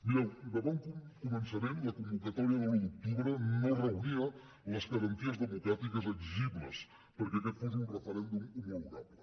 mireu de bon començament la convocatòria de l’un d’octubre no reunia les garanties democràtiques exigibles perquè aquest fos un referèndum homologable